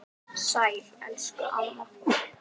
Sæl elsku amma.